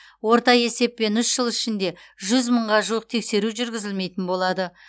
орта есеппен үщ жыл ішінде жүз мыңға жуық тексеру жүргізілмейтін болады